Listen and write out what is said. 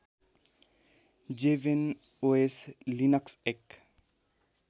जेभेनओएस Linux एक